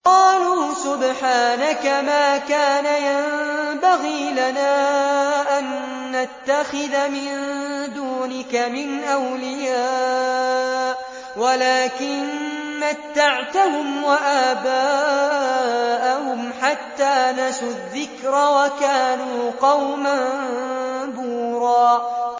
قَالُوا سُبْحَانَكَ مَا كَانَ يَنبَغِي لَنَا أَن نَّتَّخِذَ مِن دُونِكَ مِنْ أَوْلِيَاءَ وَلَٰكِن مَّتَّعْتَهُمْ وَآبَاءَهُمْ حَتَّىٰ نَسُوا الذِّكْرَ وَكَانُوا قَوْمًا بُورًا